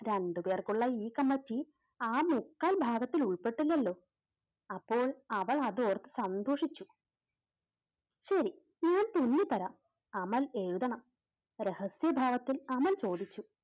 രണ്ടുപേർക്കുള്ള ഈ കമ്മിറ്റി ആ മുക്കാൽ ഭാഗത്തിൽ ഉൾപ്പെട്ടില്ലല്ലോ, അപ്പോൾ അവൾ അതോർത്ത് സന്തോഷിച്ചു. ശരി ഞാൻ ചൊല്ലി തരാം. അമൽ എഴുതണം. രഹസ്യഭാവത്തിൽ അമൽ ചോദിച്ചു